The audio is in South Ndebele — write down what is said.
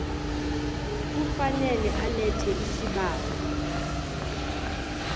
kufanele alethe isibawo